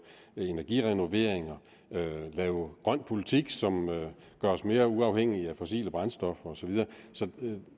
energirenoveringer at lave grøn politik som gøres mere uafhængig af fossile brændstoffer og så videre så